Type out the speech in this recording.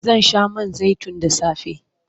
Zan sha man zaitun da safe.